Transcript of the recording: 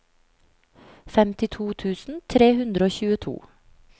femtito tusen tre hundre og tjueto